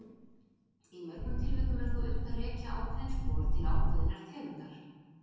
Í mörgum tilvikum er þó unnt að rekja ákveðin spor til ákveðinnar tegundar.